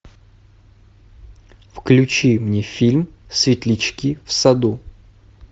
включи мне фильм светлячки в саду